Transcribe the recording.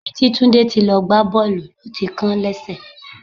Níbi tí Tunde ti lọ gbá Bọ́ọ̀lù ló ti kán lẹ́sẹ̀.